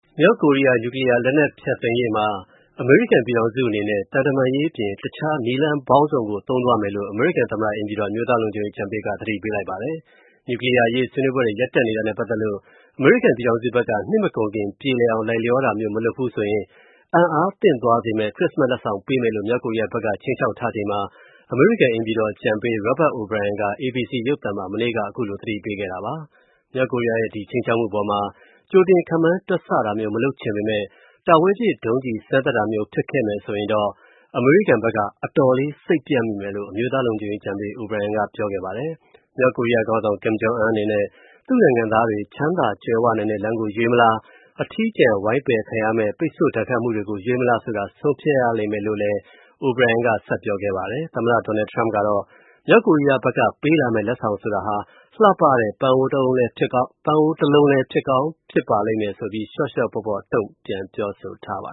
မြောက်ကိုရီးယား နျူကလီးယားလက်နက် ဖျက်သိမ်းရေးမှာ အမေရိကန်ပြည်ထောင်စုအနေနဲ့ သံတမန်ရေးအပြင် တခြားနည်းလမ်းပေါင်းစုံကို သုံးသွားမယ်လို့ အမေရိကန် သမ္မတအိမ်ဖြူတော် အမျိုးသား လုံခြုံရေးအကြံပေးက သတိပေးလိုက်ပါတယ်။ နျူကလီးယားအရေး ဆွေးနွေးပွဲတွေ ရပ်တန့်နေတာနဲ့ ပတ်သက်လို့ အမေရိကန်ပြည်ထောင်စုဘက်က နှစ်မကုန်ခင် ပြေလည်အောင် လိုက်လျောတာမျိုး မလုပ်ဘူးဆိုရင် အံအားသင့်သွားစေမယ့် ခရစ္စမတ် လက်ဆောင်ပေးမယ်လို့ မြောက်ကိုရီးယားဘက်က ခြိမ်းခြောက်ထားချိန်မှာ အမေရိကန် အိမ်ဖြူတော်အကြံပေး Robert O'Brien က ABC ရုပ်သံမှာ မနေ့က ခုလို သတိပေးခဲ့တာပါ။ မြောက်ကိုရီးယားရဲ့ ဒီခြိမ်းခြောက်တဲ့အပေါ်မှာ ကြိုတင်ခန့်မှန်း တွက်ဆတာမျိုး မလုပ်ချင်ပေမဲ့ တာဝေးပစ် ဒုံးကျည် စမ်းသပ်တာမျိုး ဖြစ်ခဲ့မယ်ဆိုရင် အမေရိကန်ဘက်က အတော်လေး စိတ်ပျက်မိမယ်လို့ အမျိုးသားလုံခြုံရေးအကြံပေး O'Brien က ပြောခဲ့ပါတယ်။ မြောက်ကိုရီးယားခေါင်းဆောင် Kim Jong-un အနေနဲ့ သူ့နိုင်ငံသားတွေ ချမ်းသာကြွယ်ဝနိုင်တဲ့ လမ်းကို ရွေးမလား၊ အထီးကျန် ဝိုင်းပယ်ခံရမယ့် ပိတ်ဆို့ ဒဏ်ခတ်မှုတွေကို ရွေးမလားဆိုတာ ဆုံးဖြတ်ရလိမ့်မယ်လို့လည်းလည်း O'Brien က ဆက်ပြောခဲ့ပါတယ်။ သမ္မတ Donald Trump ကတော့ မြောက်ကိုရီးယားဘက်က ပေးမယ့် လက်ဆောင်ဆိုတာ လှပတဲ့ ပန်းအိုးတအိုးလည်း ဖြစ်ကောင်းဖြစ်ပါလိမ့်မယ်ဆိုပြီး လျှော့လျှော့ပေါ့ပေါ့ တုံ့ပြန်ပြောဆိုထားပါ